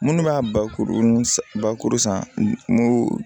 Minnu b'a bakuru bakuru sanko